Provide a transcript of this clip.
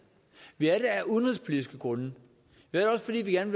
vi er også med af udenrigspolitiske grunde fordi vi gerne